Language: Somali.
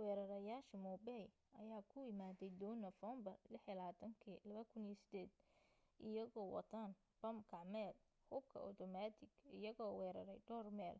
weerareyaasha mumbai ayaa ku imaaday doon nofeembar 26 2008 iyagoo wataan bam gacmeed hubka otomatik iyagoo weerarey dhawr meel